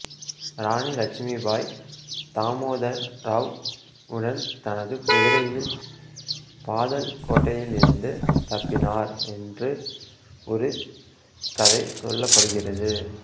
ராணி இலட்சுமிபாய் தாமோதர் ராவ் உடன் தனது குதிரையில் பாதல் கோட்டையிலிருந்து தப்பினார் என்ற ஒரு கதை சொல்லப்படுகிறது